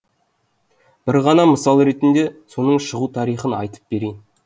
бір ғана мысал ретінде соның шығу тарихын айтып берейін